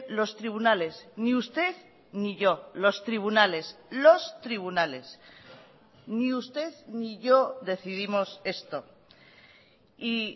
los tribunales ni usted ni yo los tribunales los tribunales ni usted ni yo decidimos esto y